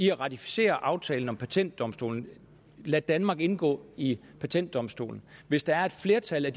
at ratificere aftalen om patentdomstolen og lade danmark indgå i patentdomstolen hvis der er et flertal af